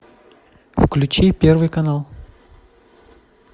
включи первый канал